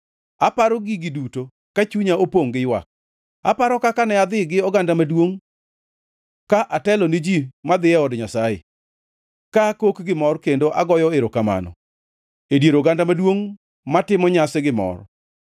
Aparo gigi duto ka chunya opongʼ giywak: aparo kaka ne adhi gi oganda maduongʼ ka atelo ni ji madhi e od Nyasaye, Ka akok gimor kendo agoyo erokamano E dier oganda maduongʼ matimo nyasi gi mor.